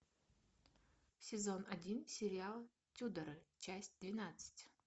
сезон один сериал тюдоры часть двенадцать